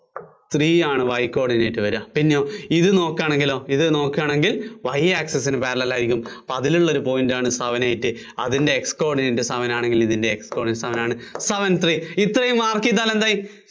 three ആണ് Y coordinate വര്വാ, പിന്നെയോ ഇത് നോക്ക്വാണെങ്കിലോ, ഇത് നോക്കുവാണെങ്കില്‍ Y access ന് parellel ആയിരിയ്ക്കും. അപ്പോ അതിലുള്ള ഒരു point ആണ് seven eight അതിന്‍റെ X coordinate seven ആണെങ്കില്‍ ഇതിന്‍റെ X coordinate seven ആണ്, seven three ഇത്രയും mark ചെയ്താല്‍ എന്തായി?